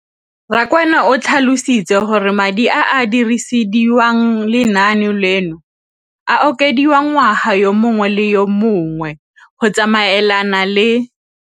Rakwena o tlhalositse gore madi a a dirisediwang lenaane leno a okediwa ngwaga yo mongwe le yo mongwe go tsamaelana le